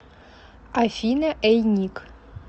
афина эй ник